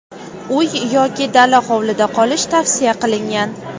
uy yoki dala hovlida qolish tavsiya qilingan.